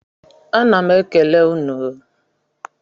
A ná m ekele unu o